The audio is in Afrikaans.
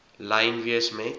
lyn wees met